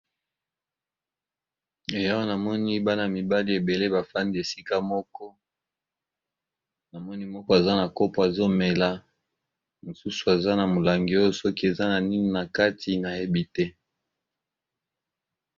Eeh awa namoni bana mibali ebele bafandi esika moko ,namoni moko aza na kopo azomela ,mosusu aza na molangi oyo soki eza na nini na kati na yebi te ?.